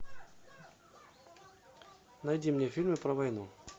найди мне фильмы про войну